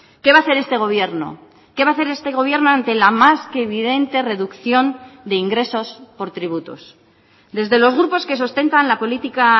qué va a hacer este gobierno qué va a hacer este gobierno ante la más que evidente reducción de ingresos por tributos desde los grupos que sustentan la política